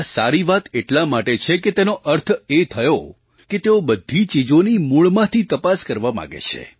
આ સારી વાત એટલા માટે છે કે તેનો અર્થ એ થયો કે તેઓ બધી ચીજોની મૂળમાંથી તપાસ કરવા માગે છે